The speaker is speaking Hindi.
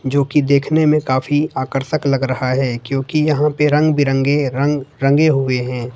जो कि देखने में काफी आकर्षक लग रहा है क्योंकि यहां पे रंग बिरंगे रंग रंगे हुए है।